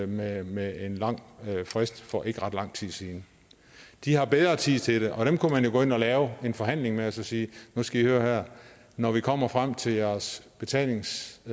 med med en lang frist for ikke ret lang tid siden de har bedre tid til det og dem kunne man jo gå ind og lave en forhandling med og så sige nu skal i høre her når vi kommer frem til jeres betalingsfrist